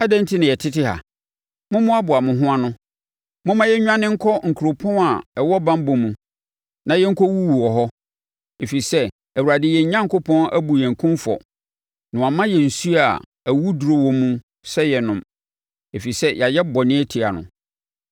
Adɛn enti na yɛtete ha? Mommoaboa mo ho ano! Momma yɛnnwane nkɔ nkuropɔn a ɛwɔ banbɔ mu na yɛnkɔwuwu wɔ hɔ! Ɛfiri sɛ Awurade yɛn Onyankopɔn abu yɛn kumfɔ na wama yɛn nsuo a awuduro wɔ mu sɛ yɛnnom, ɛfiri sɛ yɛayɛ bɔne atia no.